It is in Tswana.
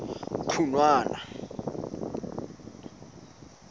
khunwana